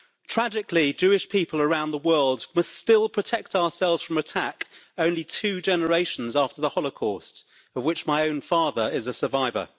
Tragically, Jewish people around the world must still protect ourselves from attack only two generations after the Holocaust, of which my own father is a survivor.